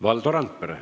Valdo Randpere.